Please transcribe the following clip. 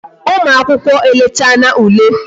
Ụmụ akwụkwọ e lechana ule